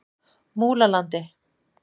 Múlalandi